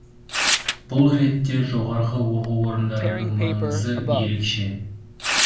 бұл ретте жоғарғы оқу орындарының маңызы ерекше